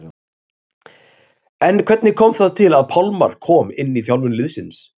En hvernig kom það til að Pálmar kom inn í þjálfun liðsins?